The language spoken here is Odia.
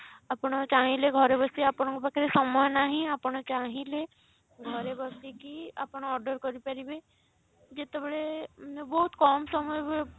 ଆପଣ ଚାହିଁଲେ ଘରେ ବସି ଆପଣଙ୍କ ପାଖରେ ସମୟ ନାହିଁ ଆପଣ ଚାହିଁଲେ ଘରେ ବସିକି ଆପଣ order କରିପାରିବେ ଯେତେବେଳେ ବହୁତ କମ ସମୟ